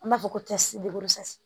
An b'a fɔ ko